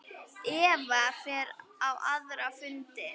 Eva fer á aðra fundi.